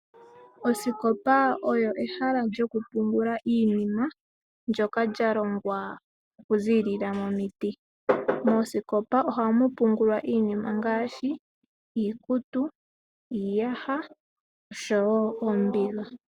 Osikopa oyo ehala lyoku pungula iinima ndyoka lya longwa oku ziilila momiti. Moosikopa ohamu pungulwa iinima ngaashi iikutu, iiyaha oshowo oombiga.